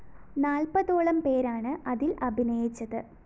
നാല്‍പതോളം പേരാണ് അതില്‍ അഭിനയിച്ചത്